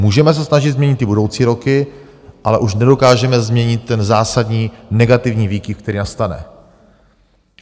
Můžeme se snažit změnit ty budoucí roky, ale už nedokážeme změnit ten zásadní negativní výkyv, který nastane.